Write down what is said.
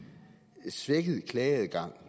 den situation engang